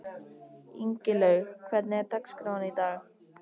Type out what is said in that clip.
Ingilaug, hvernig er dagskráin í dag?